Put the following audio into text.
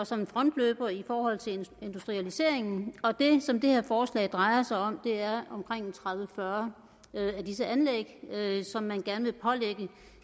som en frontløber i forhold til industrialiseringen og det som det her forslag drejer sig om er omkring tredive til fyrre af disse anlæg som man gerne